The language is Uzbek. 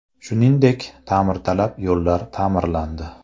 Shuningdek, ta’mirtalab yo‘llar ta’mirlandi.